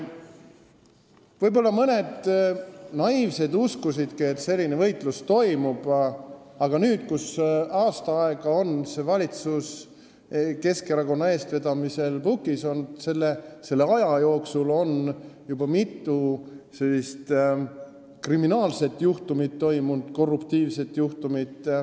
Võib-olla mõned naiivsed uskusidki, et selline võitlus toimub, aga selle aasta jooksul, kui see valitsus on Keskerakonna eestvedamisel pukis olnud, on olnud juba mitu kriminaalset juhtumit, korruptiivset juhtumit.